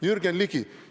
Jürgen Ligi!